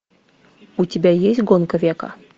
у тебя есть гонка века